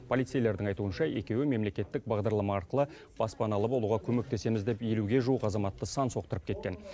полицейлердің айтуынша екеуі мемлекеттік бағдарлама арқылы баспаналы болуға көмектесеміз деп елуге жуық азаматты сан соқтырып кеткен